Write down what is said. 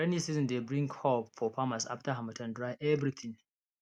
rainy season dey bring hope for farmers after harmattan dry everything